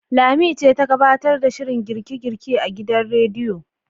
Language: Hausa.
Lami ce ta gabtar da shirin girke-girke a gidan radiyon.